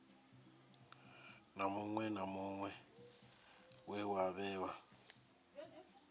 na muṅwe we wa vhewa